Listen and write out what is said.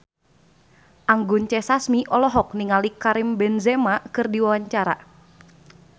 Anggun C. Sasmi olohok ningali Karim Benzema keur diwawancara